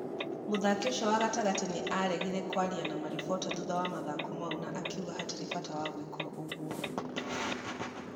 Mũthaki ũcuo wa gatagatĩ nĩ aregire kwaria ma maribota thutha wa mathako mau na akiuga hatirĩ bata wa gwika ũguo.